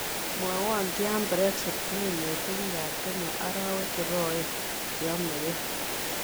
Mwawon Tyaan brexit neiinetee biikap kenya araawek cheg'oen cheyamekeey